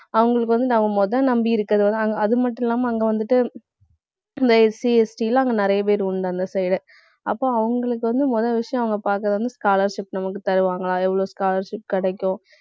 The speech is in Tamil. அவங்களுக்கு வந்து நாம முதல் நம்பி இருக்கிறது வந்து அங்~ அது மட்டும் இல்லாம அங்க வந்துட்டு, இந்த SCST எல்லாம் அங்க நிறைய பேர் உண்டு, அந்த side ஏ அப்போ அவங்களுக்கு வந்து, முதல் விஷயம் அவங்க பாக்குறது வந்து scholarship நமக்கு தருவாங்களா எவ்வளவு scholarship கிடைக்கும்